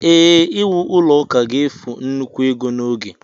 ee, iwu ụlọ ụka ga-efu nnukwu ego na oge